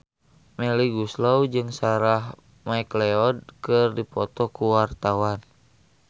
Melly Goeslaw jeung Sarah McLeod keur dipoto ku wartawan